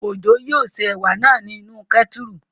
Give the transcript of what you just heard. Òjó yóò se ẹ̀wà náà ní inú kẹ́tùrù